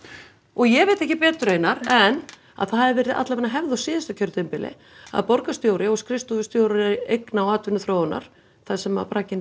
ég veit ekki betur Einar en það hafi verið alla vega hefð á síðasta kjörtímabili að borgarstjóri og skrifstofustjóri eigna og atvinnuþróunar þar sem bragginn er